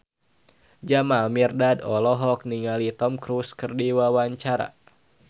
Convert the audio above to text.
Jamal Mirdad olohok ningali Tom Cruise keur diwawancara